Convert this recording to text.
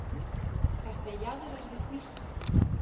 Þetta jaðrar við hnýsni.